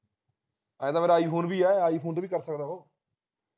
ਐ ਤਾਂ ਫੇਰ iphone ਵੀ ਆ iphone ਤੇ ਭੀ ਕਰ ਸਕਦਾ ਹੈ ਉਹ